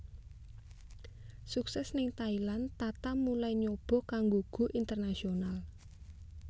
Sukses ning Thailand Tata mulai nyoba kanggo go international